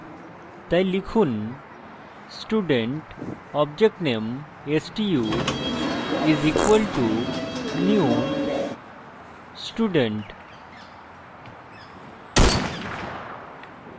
তাই লিখুন student object name stu is equal to new student